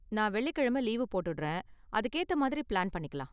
நான் வெள்ளிக்கிழமை லீவு போட்டுடுறேன், அதுக்கு ஏத்த மாதிரி ப்ளான் பண்ணிக்கலாம்.